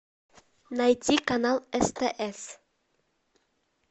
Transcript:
найти канал стс